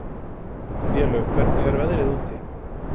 Vélaug, hvernig er veðrið úti?